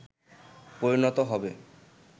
পরিণত হবে